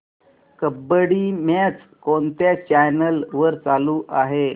kabaddi match कोणत्या channel वर चालू आहे